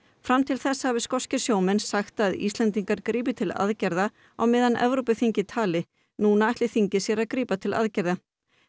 fram til þessa hafi skoskir sjómenn sagt að Íslendingar grípi til aðgerða á meðan Evrópuþingið tali núna ætli þingið sér að grípa til aðgerða